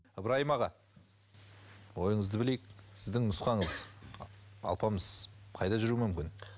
ыбыраим аға ойыңызды білейік сіздің нұсқаңыз алпамыс қайда жүруі мүмкін